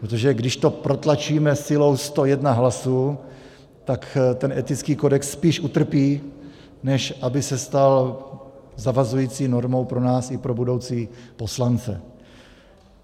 Protože když to protlačíme silou 101 hlasů, tak ten etický kodex spíš utrpí, než aby se stal zavazující normou pro nás i pro budoucí poslance.